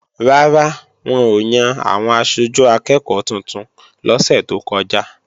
Rárá, wọn ò yan àwọn aṣojú akẹ́ẹ̀kọ́ tuntun lọ́sẹ̀ tó kọjá